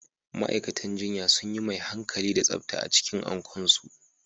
Ma'aikatan jinya sunyi mai hankali da tsafta a cikin Ankon su